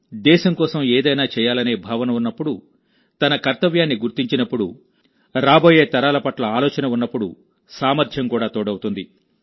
దేశం కోసం ఏదైనా చేయాలనే భావన ఉన్నప్పుడు తన కర్తవ్యాన్ని గుర్తించినప్పుడు రాబోయే తరాల పట్ల ఆలోచన ఉన్నప్పుడు సామర్థ్యం కూడా తోడవుతుంది